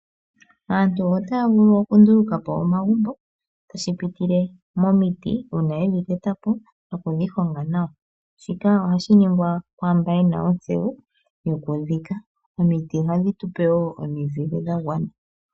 Aantu otaya vulu okunduluka po omagumbo tashi pitile momiti uuna yedhi teta po nokudhi honga nawa, shika ohashi ningwa kwaamba yena oontseyo yokudhiika, omiti ohadhi tupe wo omizile dha gwana.